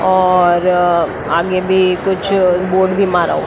और आगे भी कुछ बोर्ड भी मारा हो--